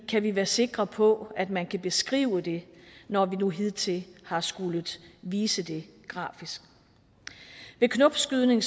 kan vi være sikre på at man kan beskrive det når vi nu hidtil har skullet vise det grafisk ved knopskydning